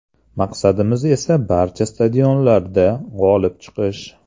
Maqsadimiz esa barcha stadionlarda g‘olib chiqish”.